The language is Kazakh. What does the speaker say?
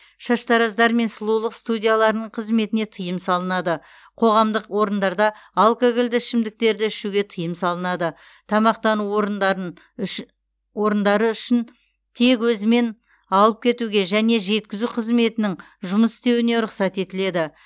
шаштараздар мен сұлулық студияларының қызметіне тыйым салынады қоғамдық орындарда алкогольді ішімдіктерді ішуге тыйым салынады тамақтану орындары үшін тек өзімен алып кетуге және жеткізу қызметінің жұмыс істеуіне рұқсат етіледі